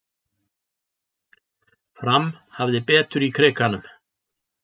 Fram hafði betur í Krikanum